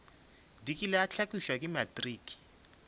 dikile a hlakišwa ke matriki